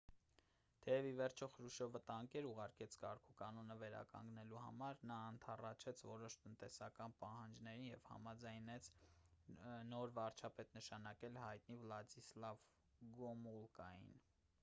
թեև ի վերջո խրուշչովը տանկեր ուղարկեց կարգուկանոնը վերականգնելու համար նա ընդառաջեց որոշ տնտեսական պահանջներին և համաձայնվեց նոր վարչապետ նշանակել հայտնի վլադիսլավ գոմուլկային